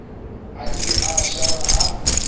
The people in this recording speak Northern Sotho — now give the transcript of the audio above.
a ile a šala a